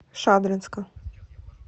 шадринска